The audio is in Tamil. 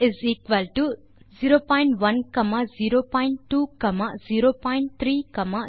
ல் மற்றும் ட் என இரண்டு sequenceகளை உருவாக்கலாம்